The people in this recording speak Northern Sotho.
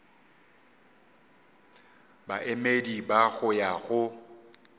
baemedi ba go ya go